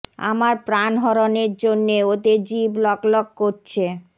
আমার প্রাণ হরণের জন্যে ওদের জিভ লক লক করছে